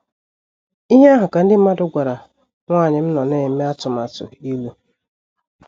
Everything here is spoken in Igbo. Ihe ahụ ka ndị mmadụ gwara nwanyị m nọ na - eme atụmatụ ịlụ.